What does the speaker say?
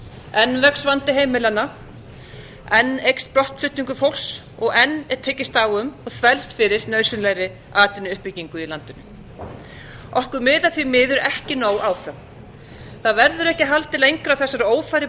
enn vex vandi heimilanna enn eykst brottflutningur fólks og enn er tekist á um og þvælst fyrir nauðsynlegri atvinnuuppbyggingu í landinu okkur miðar því miður ekki nóg áfram það verður ekki haldið lengra á þessari